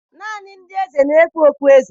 Naanị ndị eze na-ekpu okpueze